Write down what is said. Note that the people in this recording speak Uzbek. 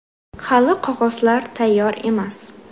Hali qog‘ozlar tayyor emas.